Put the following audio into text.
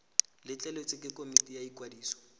letleletswe ke komiti ya ikwadiso